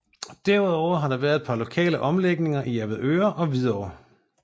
Derudover har der været et par lokale omlægninger i Avedøre og Hvidovre